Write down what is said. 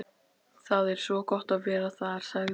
Það er svo gott að vera þar, sagði